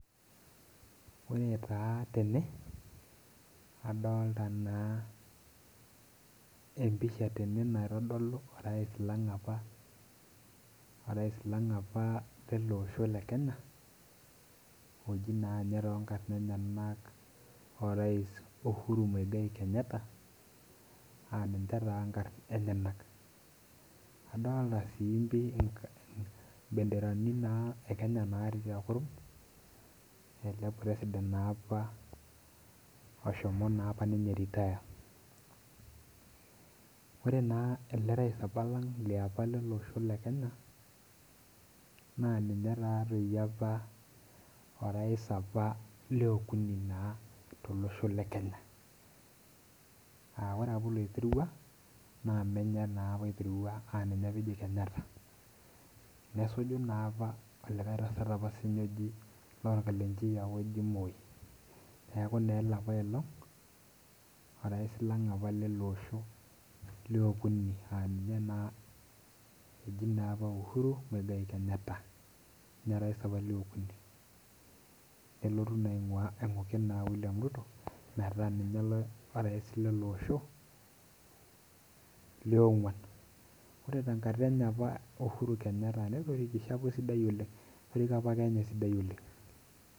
Ore taa tene adolita na empisa tene naitodolu orais lang apa leloosho lekenya oji na tonkarn enyenak orais uhuru muigai kenyatta na ninche na nkarn enyenak kadolta na mbenderani e kenya natii tekuruk ele president naapa oshomo naapa ninye retire ore naapa elerais lolosho lang le kenya na ninue taatoi apa orais apa leukuni tolosho le Kenya aa ore apa oloiterua na menye naapa oiterua aamenye apa eji kenyatta nesuju napaa likae tasat lorkalenjin oji moi neaku ele naapailong orais lele osho leukuni aa ninye naa eji uhuru kenyatta na ninye apa orais le okuni nelotu na ainguki william ruto metaabminye orais lele osho leonguan ore tenkata enye e uhuru kenyatta netorikishe apa esidai oleng etoriko apa kenya esidai oleng'.